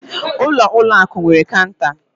Ụlọ ụlọ akụ nwere cọunta.